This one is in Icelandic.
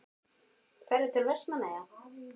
Ferðu til Vestmannaeyja?